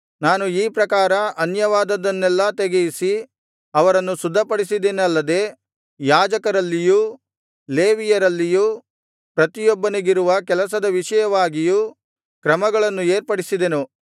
ನಾನು ಈ ಪ್ರಕಾರ ಅನ್ಯವಾದದ್ದನ್ನೆಲ್ಲಾ ತೆಗೆಯಿಸಿ ಅವರನ್ನು ಶುದ್ಧಪಡಿಸಿದೆನಲ್ಲದೆ ಯಾಜಕರಲ್ಲಿಯೂ ಲೇವಿಯರಲ್ಲಿಯೂ ಪ್ರತಿಯೊಬ್ಬನಿಗಿರುವ ಕೆಲಸದ ವಿಷಯವಾಗಿಯೂ ಕ್ರಮಗಳನ್ನು ಏರ್ಪಡಿಸಿದೆನು